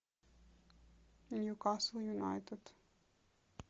ньюкасл юнайтед